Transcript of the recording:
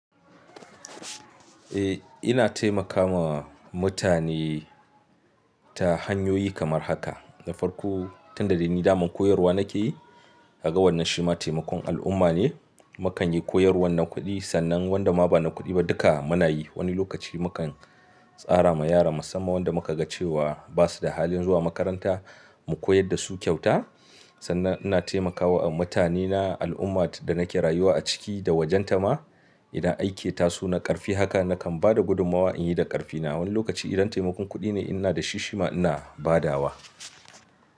Eh, ina taimakawa mutane ta hanyoyi kamar haka. Da farko, tun da dai ni daman koyarwa nake yi, kaga wannan shi ma taimakon al'umma ne. Mu kan yi koyarwar na kuɗi sannan wanda ma ba na kuɗi ba duka muna yi. Wani lokaci mu kan tsara ma yara musamman wanda muka ga cewa ba su da halin zuwa makaranta, mu koyar da su kyauta. Sannan ina taimakawa mutanena, al'ummar da nake rayuwa a ciki, da wajenta ma. Ina aike tasu na ƙarfi haka, na kan ba da gudummawa in yi da ƙarfina. Wani lokaci idan taimakon kuɗi ne, ina da shi shi ma ina ba da wa.